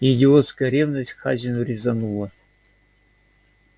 идиотская ревность к хазину резанула